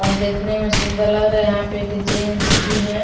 और देखने में सुंदर लग रहा है यहां पे एक जेन्स भी है।